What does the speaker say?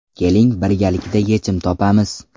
Keling birgalikda yechim topamiz.